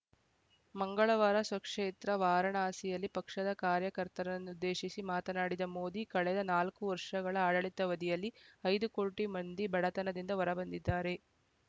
ಮಂಗಳವಾರ ಸ್ವಕ್ಷೇತ್ರ ವಾರಣಾಸಿಯಲ್ಲಿ ಪಕ್ಷದ ಕಾರ್ಯಕರ್ತರನ್ನುದ್ದೇಶಿಸಿ ಮಾತನಾಡಿದ ಮೋದಿ ಕಳೆದ ನಾಲ್ಕು ವರ್ಷಗಳ ಆಡಳಿತಾವಧಿಯಲ್ಲಿ ಐದು ಕೋಟಿ ಮಂದಿ ಬಡತನದಿಂದ ಹೊರ ಬಂದಿದ್ದಾರೆ